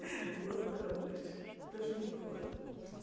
воздухом дышит тоже неплохо